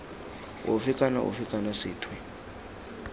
ofe kana ofe kana sethwe